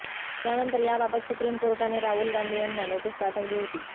त्यानंतर याबाबत सुप्रीम कोर्टाने राहुल गांधी यांना नोटीस पाठवली होती